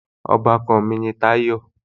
Ọbàkan mi ni Táyọ̀